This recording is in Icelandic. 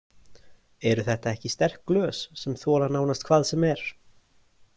Eru þetta ekki sterk glös sem þola nánast hvað sem er?